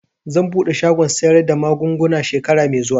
Zan buɗe shagon sayar da magunguna shekara mai zuwa